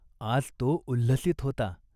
आज तो उल्हसित होता.